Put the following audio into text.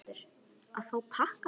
Þórhildur: Að fá pakkana?